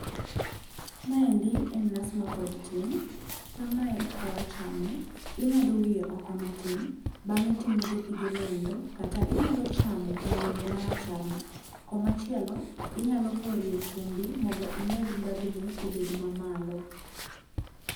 Maendi en nas mapod tin. Kamae e kaka wachame, ing'ado wiye oko matin, bang'e timodho pigeno endo, kata inyalo chamo nyaiye marachar no. Koma chielo, inyalo porie chumbi mondo imed ndhadhune obed mamalo.